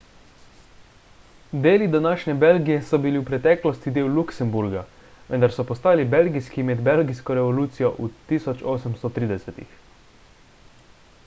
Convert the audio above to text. deli današnje belgije so bili v preteklosti del luksemburga vendar so postali belgijski med belgijsko revolucijo v 1830-ih